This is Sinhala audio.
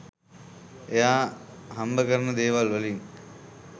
එයා හම්බ කරන දේවල් වලින්